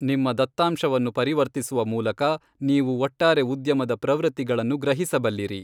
ನಿಮ್ಮ ದತ್ತಾಂಶವನ್ನು ಪರಿವರ್ತಿಸುವ ಮೂಲಕ, ನೀವು ಒಟ್ಟಾರೆ ಉದ್ಯಮದ ಪ್ರವೃತ್ತಿಗಳನ್ನು ಗ್ರಹಿಸಬಲ್ಲಿರಿ.